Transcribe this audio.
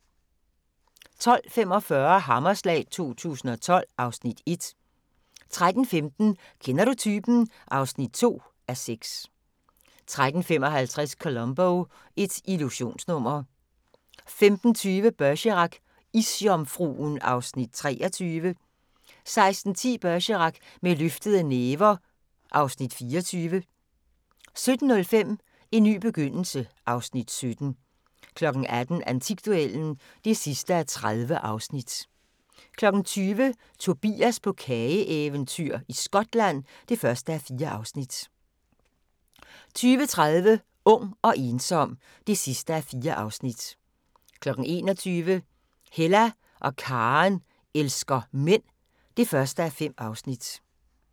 12:45: Hammerslag 2012 (Afs. 1) 13:15: Kender du typen? (2:6) 13:55: Columbo: Et illusionsnummer 15:20: Bergerac: Isjomfruen (Afs. 23) 16:10: Bergerac: Med løftede næver (Afs. 24) 17:05: En ny begyndelse (Afs. 17) 18:00: Antikduellen (30:30) 20:00: Tobias på kageeventyr – Skotland (1:4) 20:30: Ung og ensom (4:4) 21:00: Hella og Karen elsker mænd (1:5)